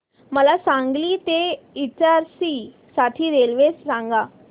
मला सांगली ते इटारसी साठी रेल्वे सांगा